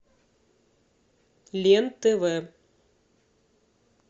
лен тв